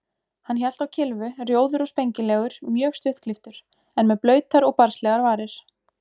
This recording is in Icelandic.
Hann hélt á kylfu, rjóður og spengilegur, mjög stuttklipptur, en með blautar og barnslegar varir.